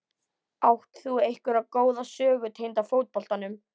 Átt þú einhverja góða sögu tengda fótboltanum?